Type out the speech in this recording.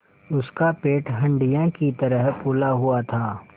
उसका पेट हंडिया की तरह फूला हुआ था